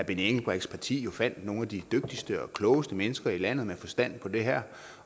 engelbrechts parti fandt jo nogle af de dygtigste og klogeste mennesker i landet med forstand på det her